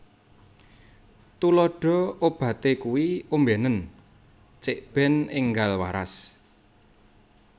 Tuladha Obaté iku ombénen cikbèn énggal waras